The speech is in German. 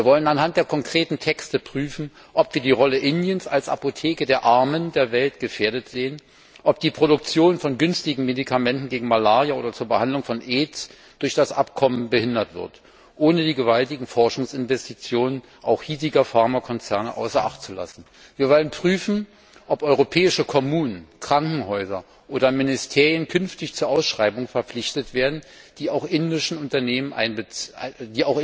Wir wollen anhand der konkreten Texte prüfen, ob die Rolle Indiens als Apotheke der Armen der Welt gefährdet ist oder ob die Produktion günstiger Medikamente gegen Malaria oder zur Behandlung von AIDS durch das Abkommen behindert wird, ohne dabei die gewaltigen Forschungsinvestitionen auch hiesiger Pharmakonzerne außer Acht zu lassen. Wir wollen prüfen, ob europäische Kommunen, Krankenhäuser oder Ministerien künftig zu Ausschreibungen verpflichtet werden sollen, bei denen auch indische Unternehmen einbezogen werden können.